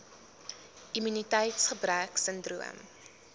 immuniteits gebrek sindroom